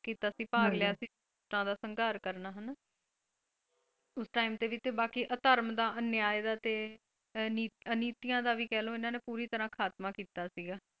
ਕੀਤਾ ਸੀ ਭਾਗ ਲਿਆ ਸੀ ਸੰਗਾਰ ਕਰਨਾ ਹਣਾ ਉਸ ਟਾਈਮ ਤੇ ਵੀ ਬਾਕੀ ਅਧਰਮ ਦਾ ਅਨਯਾਏ ਦਾ ਤੇ ਅਨੀਤੀਆਂ ਦਾ ਵੀ ਕਹਿਲੋ ਇਹਨਾਂ ਨੇ ਪੂਰੀ ਤਰਾਂ ਖਾਤਮਾ ਕੀਤਾ ਸੀਗਾ।